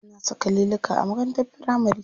Ana saka liluka a makarantar firamari.